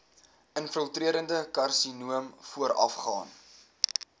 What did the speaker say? infiltrerende karsinoom voorafgaan